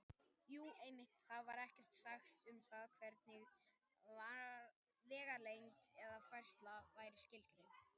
Jú, einmitt: Þar var ekkert sagt um það hvernig vegalengd eða færsla væri skilgreind!